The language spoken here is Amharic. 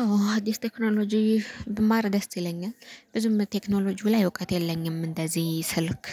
አዎ አዲስ ቴክኖሎጂ ብማር ደስ ይለኛል ብዙም ቴክኖሎጂው ላይ እውቀት የለኝም እንደዚ ስልክ።